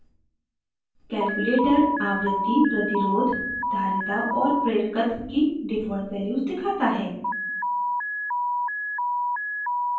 calculator आवृत्ति प्रतिरोध धारिता और प्रेरकत्व की default values दिखाता है